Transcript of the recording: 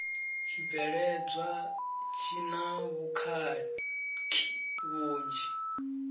tshibveledzwa tshi na vhukhakhi vhunzhi